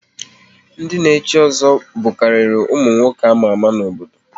Ndị na echi ozo bukariri ụmụ nwoke ama ama n'obodo